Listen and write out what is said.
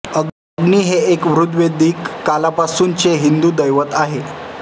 अग्नी हे एक ऋग्वेदिक कालापासूनचे हिंदू दैवत आहे